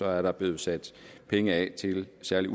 er der blevet sat penge af til særligt